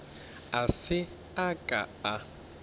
a se a ka a